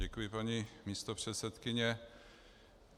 Děkuji, paní místopředsedkyně.